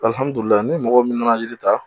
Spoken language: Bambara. ni mɔgɔ min na na yiri ta